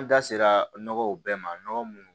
An da sera nɔgɔw bɛɛ ma nɔgɔ munnu